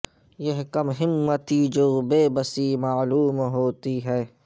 یہ کم ہمتی جو بے بسی معلوم ہوتی ہے